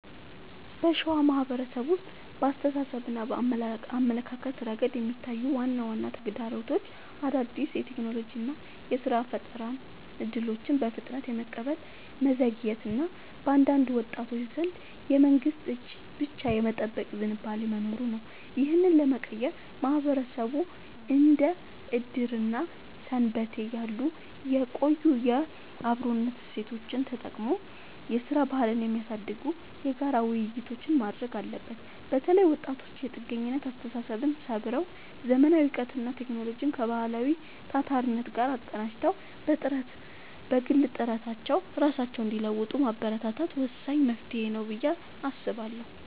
በሸዋ ማህበረሰብ ውስጥ በአስተሳሰብና አመለካከት ረገድ የሚታዩት ዋና ዋና ተግዳሮቶች አዳዲስ የቴክኖሎጂና የሥራ ፈጠራ እድሎችን በፍጥነት የመቀበል መዘግየት እና በአንዳንድ ወጣቶች ዘንድ የመንግስትን እጅ ብቻ የመጠበቅ ዝንባሌ መኖሩ ነው። ይህንን ለመቀየር ማህበረሰቡ እንደ ዕድርና ሰንበቴ ያሉ የቆዩ የአብሮነት እሴቶቹን ተጠቅሞ የሥራ ባህልን የሚያሳድጉ የጋራ ውይይቶችን ማድረግ አለበት። በተለይ ወጣቶች የጥገኝነት አስተሳሰብን ሰብረው: ዘመናዊ እውቀትንና ቴክኖሎጂን ከባህላዊው ታታሪነት ጋር አቀናጅተው በግል ጥረታቸው ራሳቸውን እንዲለውጡ ማበረታታት ወሳኝ መፍትሄ ነው ብዬ አስባለሁ።